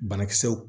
Banakisɛw